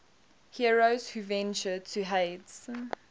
heroes who ventured to hades